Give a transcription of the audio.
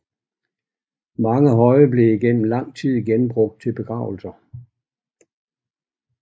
Mange høje blev igennem lang tid genbrugt til begravelser